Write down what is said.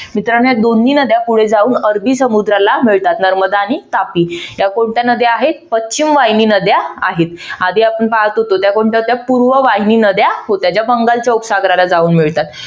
मित्रांनो या दोन्ही नद्या पुढे जाऊन अरबी समुद्राला मिळतात. नर्मदा आणि तापी या कोणत्या नद्या आहेत पश्चिम वाहिनी नद्या आहेत. आधी आपण पाहत होतो त्या कोणत्या होत्या पूर्व वाहिनी नद्या होत्या. ज्या बंगालच्या उपसागराला जाऊन मिळतात.